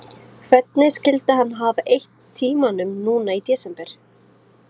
Hvernig skyldi hann hafa eytt tímanum núna í desember?